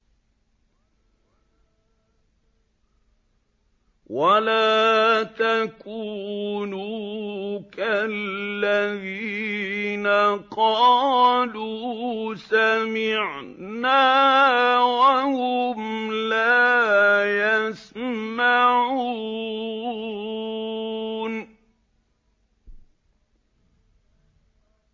وَلَا تَكُونُوا كَالَّذِينَ قَالُوا سَمِعْنَا وَهُمْ لَا يَسْمَعُونَ